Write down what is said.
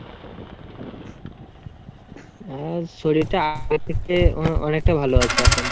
বাবার শরীরটা আগের থেকে অনেকটা ভালো আছে এখন।